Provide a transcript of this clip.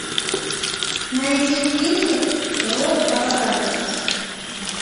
найди фильмик рок апокалипсис